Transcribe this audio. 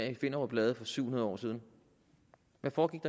i finderup lade for syv hundrede år siden hvad foregik